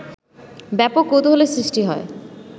ব্যাপক কৌতূহলের সৃষ্টি হয়